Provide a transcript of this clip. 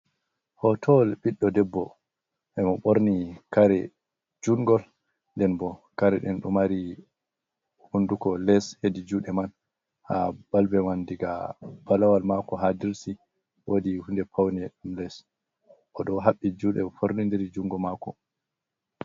Hotowal ɓiɗɗo ɗebbo e mo ɓorni kare jungol, nden bo kare ɗen ɗo mari hunduko les hedi juɗe man ha balbe man diga balawal mako ha dirsi, wodi hunde pawne ɗom les o ɗo haɓɓi juɗe fornidiri jungo mako.